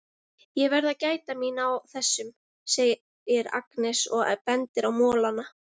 Ég verð að gæta mín á þessum, segir Agnes og bendir á molana.